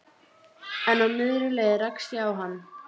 En á miðri leið rakst ég á hann.